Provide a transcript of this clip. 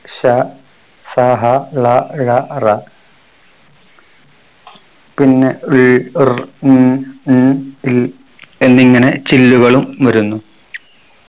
ഷ സ ഹ ള ഴ റ പിന്നെ ൾ ർ ൻ ൺ ൽ എന്നിങ്ങനെ ചില്ലുകളും വരുന്നു